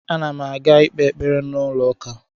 Ana m aga ikpe ekpere n’ụlọ ụka